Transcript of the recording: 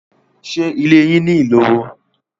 Ṣé ilé yín ní iloro?